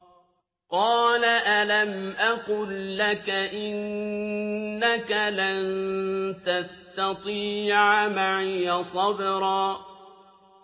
۞ قَالَ أَلَمْ أَقُل لَّكَ إِنَّكَ لَن تَسْتَطِيعَ مَعِيَ صَبْرًا